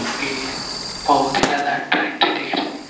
जो की बहोत ही ज्यादा अट्रैक्टिव दिख रही है।